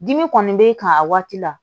Dimi kɔni b'e kan a waati la